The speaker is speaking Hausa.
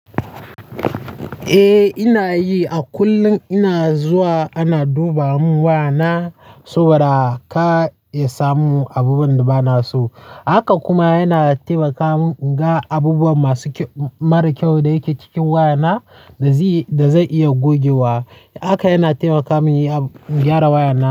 Eh ina yi. A kullum ina zuwa ana duba mun wayana saboda kar ya samu abubuwan da ba na so. Haka kuma yana taimaka mun in ga abubuwa mara kyau da yake cikin wayana da zan iya gogewa. Haka yana taimaka mun in gyara wayana.